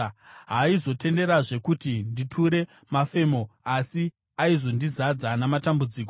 Haaizonditenderazve kuti nditure mafemo, asi aizondizadza namatambudziko.